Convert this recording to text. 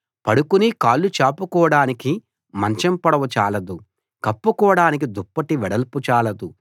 పడుకుని కాళ్ళు చాపుకోడానికి మంచం పొడవు చాలదు కప్పుకోడానికి దుప్పటి వెడల్పు చాలదు